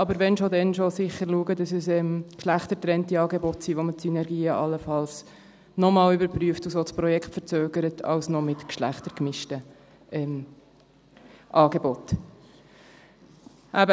Aber wennschon, dennschon: Sicher schauen, dass es geschlechtergetrennte Angebote sind, wo man die Synergien allenfalls noch einmal überprüft und so das Projekt verzögert, als noch geschlechtergemischte Angebote.